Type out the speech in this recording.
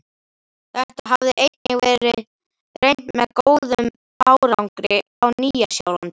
Þetta hafði einnig verið reynt með góðum árangri á Nýja-Sjálandi.